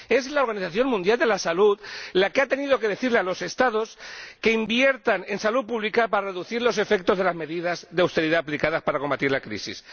La Organización Mundial de la Salud ha tenido que decir a los Estados que inviertan en salud pública para reducir los efectos de las medidas de austeridad aplicadas para combatir la crisis.